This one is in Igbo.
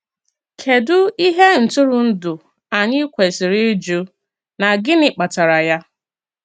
Kédù ihe ntụrụndụ anyị kwesiri ịjụ, na gịnị kpatara ya?